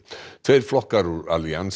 tveir flokkar úr